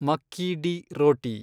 ಮಕ್ಕಿ ಡಿ ರೋಟಿ